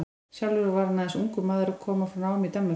Sjálfur var hann aðeins ungur maður að koma frá námi í Danmörku.